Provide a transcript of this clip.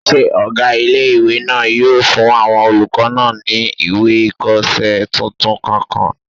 Ṣé ọgá ilé-ìwé náà yóò fún àwọn olùkọ́ náà ní ìwé ìkọsẹ́ tuntun kọ̀ọ̀kan?